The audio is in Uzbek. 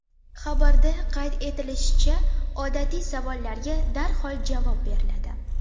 Xabarda qayd etilishicha, odatiy savollarga darhol javob beriladi.